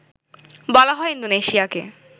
বলা হয় ইন্দোনেশিয়াকে